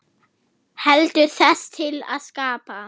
Heldur til þess að skapa.